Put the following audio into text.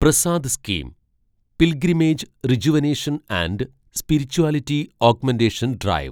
Prasad scheme pilgrimage rejuvenation and spirituality augmentation drive